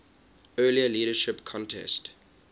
earlier leadership contest